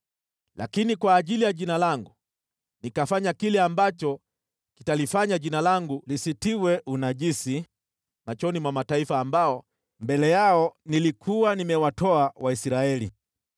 Lakini kwa ajili ya Jina langu nikafanya kile ambacho kitalifanya Jina langu lisitiwe unajisi machoni mwa mataifa ambao mbele yao nilikuwa nimewatoa Waisraeli.